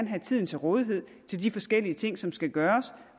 have tiden til rådighed til de forskellige ting som skal gøres